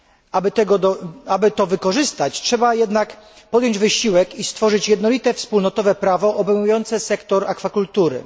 Aby to wykorzystać, trzeba jednak podjąć wysiłek i stworzyć jednolite wspólnotowe prawo obejmujące sektor akwakultury.